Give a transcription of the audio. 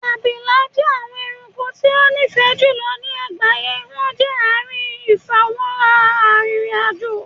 Abila jẹ awọn ẹranko ti o nifẹ julọ ni agbaye wọn jẹ aarin ifamọra aririn ajo